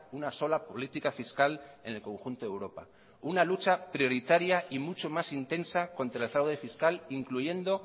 una sola política fiscal en el conjunto de europa una lucha prioritaria y mucho más intensa contra el fraude fiscal incluyendo